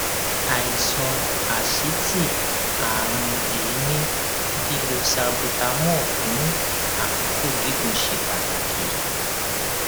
àìsàn asítì àrùn èémí lílo salbutamol fún àkókò gígùn ṣe pàtàkì